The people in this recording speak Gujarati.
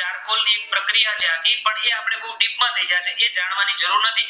કારપોષી પ્રક્રિયા તો આપણે એ જાણવાની જરૂર નથી